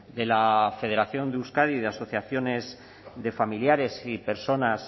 de la federación de euskadi de asociaciones de familiares y personas